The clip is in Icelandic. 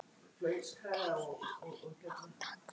En kemst málið á dagskrá?